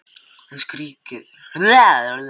Hún skríkir, nýtur þess að hafa komið honum úr jafnvægi.